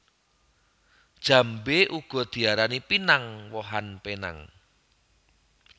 Jambé uga diarani pinang wohan penang